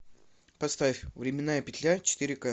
поставь временная петля четыре ка